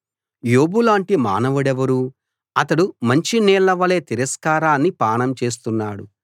యోబులాంటి మానవుడెవరు అతడు మంచి నీళ్లవలె తిరస్కారాన్ని పానం చేస్తున్నాడు